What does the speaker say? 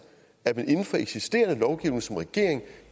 at man inden for eksisterende lovgivning som regering